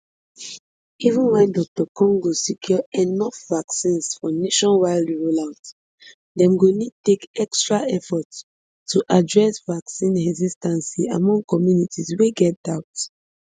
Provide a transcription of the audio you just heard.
even wen dr congo secure enough vaccines for nationwide rollout dem go need take extra effort to address vaccine hesitancy among communities wey get doubt